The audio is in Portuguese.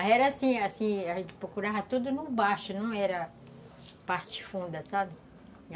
Aí era assim assim, a gente procurava tudo no baixo, não era parte funda, sabe?